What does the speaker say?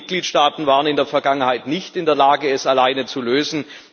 Nein, die Mitgliedstaaten waren in der Vergangenheit nicht in der Lage, es alleine zu lösen.